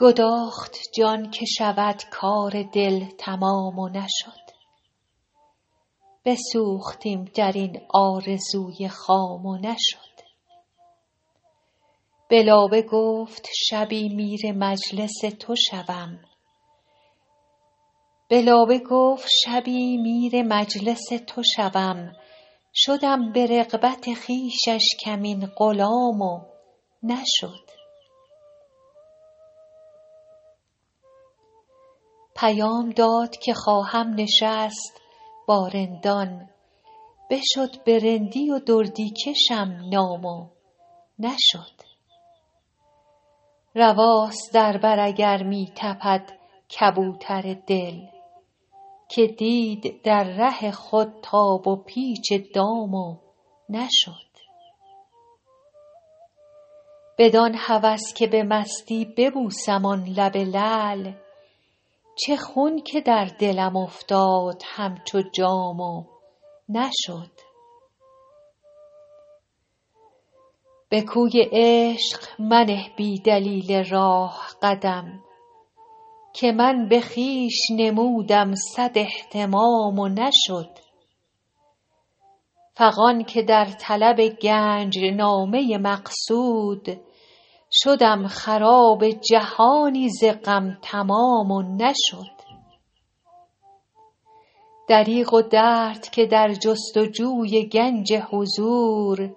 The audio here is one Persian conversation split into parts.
گداخت جان که شود کار دل تمام و نشد بسوختیم در این آرزوی خام و نشد به لابه گفت شبی میر مجلس تو شوم شدم به رغبت خویشش کمین غلام و نشد پیام داد که خواهم نشست با رندان بشد به رندی و دردی کشیم نام و نشد رواست در بر اگر می تپد کبوتر دل که دید در ره خود تاب و پیچ دام و نشد بدان هوس که به مستی ببوسم آن لب لعل چه خون که در دلم افتاد همچو جام و نشد به کوی عشق منه بی دلیل راه قدم که من به خویش نمودم صد اهتمام و نشد فغان که در طلب گنج نامه مقصود شدم خراب جهانی ز غم تمام و نشد دریغ و درد که در جست و جوی گنج حضور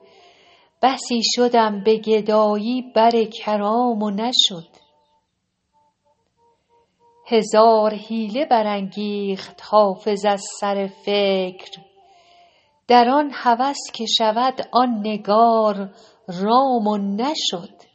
بسی شدم به گدایی بر کرام و نشد هزار حیله برانگیخت حافظ از سر فکر در آن هوس که شود آن نگار رام و نشد